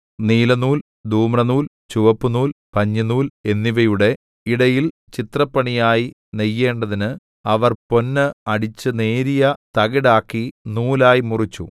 നീലനൂൽ ധൂമ്രനൂൽ ചുവപ്പുനൂൽ പഞ്ഞിനൂൽ എന്നിവയുടെ ഇടയിൽ ചിത്രപ്പണിയായി നെയ്യേണ്ടതിന് അവർ പൊന്ന് അടിച്ചു നേരിയ തകിടാക്കി നൂലായി മുറിച്ചു